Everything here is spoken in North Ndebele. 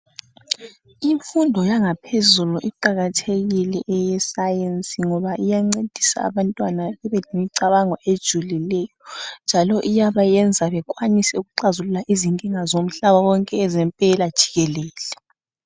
Imfundo yangaphezulu iqakathekile eye science ngoba iyancedisa abantwana bebe lemicabango ejulileyo njalo iyaba yenza bekwanise ukuxazulula izinkinga zomhlaba wonke ezempela jikelele.